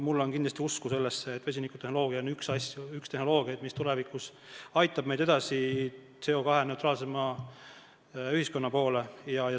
Mul on kindlasti usku sellesse, et vesinikutehnoloogia on üks tehnoloogiaid, mis tulevikus aitab meid edasi CO2-neutraalsema ühiskonna poole.